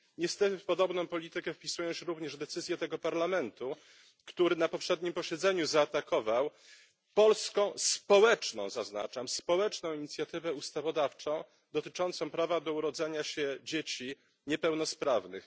Niestety w podobną politykę wpisują się również decyzje tego Parlamentu, który na poprzednim posiedzeniu zaatakował polską społeczną, zaznaczam, społeczną inicjatywę ustawodawczą dotyczącą prawa do urodzenia się dzieci niepełnosprawnych.